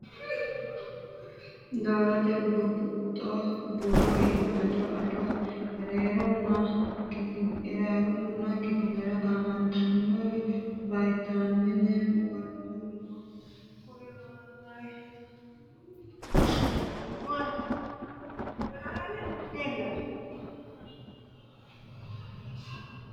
Dorote burbuxxo buuro iibbado ado ereeronna kifilera gaamantannori vaytaamine woluno kuri lawannoreeti Dorote burbuxxo buuro iibbado ado ereeronna kifilera gaamantannori.